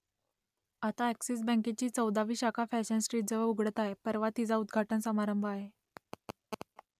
आता अ‍ॅक्सिस बँकेची चौदावी शाखा फॅशन स्ट्रीटजवळ उघडत आहे परवा तिचा उद्घाटन समारंभ आहे